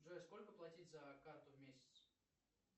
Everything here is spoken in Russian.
джой сколько платить за карту в месяц